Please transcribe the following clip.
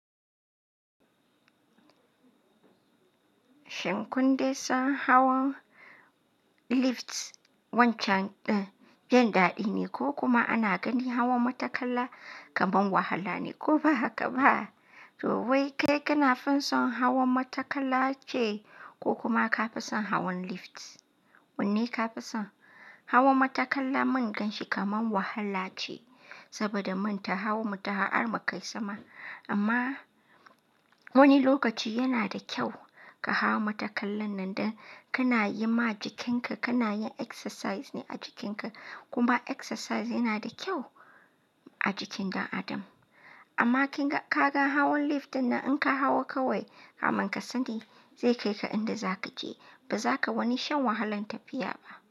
Shin kun de san hawan lift wancan ɗan jin daɗi ne ko kuma ana ganin hawan matakala kamar wahala ne ko ba haka ba? To wai kai kana finson hawan matakala ce ko kuma ka fi son hawan lift? Wanne ka fi son? Hawan matakala mun gan shi kamar wahala ce saboda mun ta hawa mu ta har mu kai sama. Amma wani lokaci yana da kyau ka hawa matakalan nan dan kana yi ma jikinka, kana yin exercise ne a jikinka. Kuma exercise yana da kyau a jikin ɗan adam. Amma kin ga ka ga hawan lift din nan in ka hawo kawai kamin ka sani zai kai ka inda za ka je ba za ka wani shan wahalan tafiya ba.